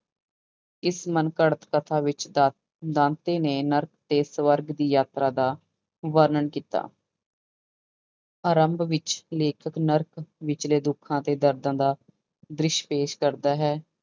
ਇਸ ਮਨ ਘੜਤ ਕਥਾ ਵਿੱਚ ਦਾ ਦਾਂਤੇ ਨੇ ਨਰਕ ਤੇ ਸਵਰਗ ਦੀ ਯਾਤਰਾ ਦਾ ਵਰਣਨ ਕੀਤਾ ਆਰੰਭ ਵਿੱਚ ਲੇਖਕ ਨਰਕ ਵਿਚਲੇ ਦੁੱਖਾਂ ਤੇ ਦਰਦਾਂ ਦਾ ਦ੍ਰਿਸ਼ ਪੇਸ ਕਰਦਾ ਹੈ।